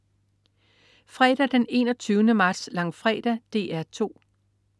Fredag den 21. marts. Langfredag - DR 2: